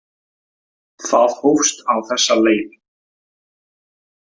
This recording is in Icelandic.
Það hófst á þessa leið.